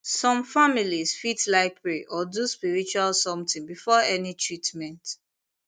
some families fit like pray or do spiritual something before any treatment